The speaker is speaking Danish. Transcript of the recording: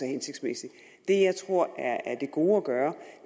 hensigtsmæssig det jeg tror er det gode at gøre